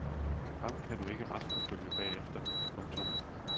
Ham kan du ikke retsforfølge bagefter. punktum